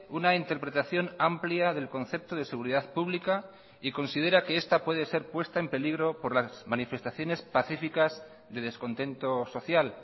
una interpretación amplia del concepto de seguridad pública y considera que esta puede ser puesta en peligro por las manifestaciones pacificas de descontento social